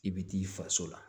I bɛ t'i faso la